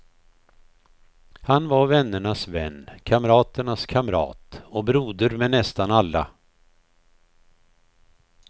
Han var vännernas vän, kamraternas kamrat och broder med nästan alla.